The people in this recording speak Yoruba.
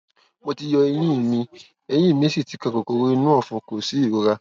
mo ti yọ eyín mi eyín míì sì ti kan kòkòrò inú ọfun kò sí ìrora